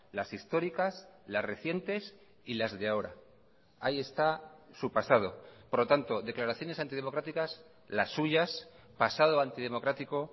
las históricas las recientes y las de ahora ahí está su pasado por lo tanto declaraciones antidemocráticas las suyas pasado antidemocrático